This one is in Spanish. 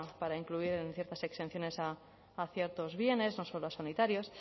para incluir ciertas exenciones a ciertos bienes no solo a sanitarios